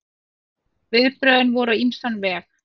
Viðbrögðin voru á ýmsan veg.